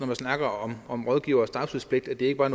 man snakker om rådgivers tavshedspligt at det ikke bare